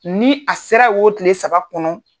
Ni a sera o tile saba kɔnɔ.